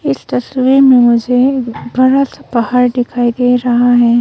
इस तस्वीर में मुझे बरा सा पहार दिखाई दे रहा है।